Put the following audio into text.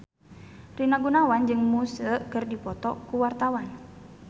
Rina Gunawan jeung Muse keur dipoto ku wartawan